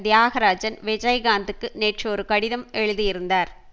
தியாகராஜன் விஜயகாந்துக்கு நேற்று ஒரு கடிதம் எழுதியிருந்தார்